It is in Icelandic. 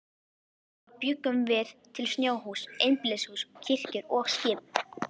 Þá bjuggum við til snjóhús, einbýlishús, kirkjur og skip.